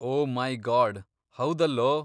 O my god, ಹೌದಲ್ಲೋ!